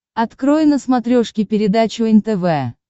открой на смотрешке передачу нтв